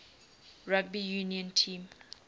rugby union team